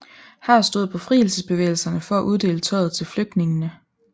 Her stod befrielsesbevægelserne for at uddele tøjet til flygtningene